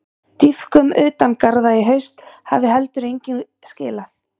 Dýpkun utan garða í haust hafi heldur engu skilað.